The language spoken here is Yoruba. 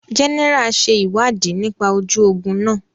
General ṣe ìwádìí nípa ojú ogún náà